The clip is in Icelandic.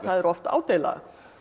oft ádeila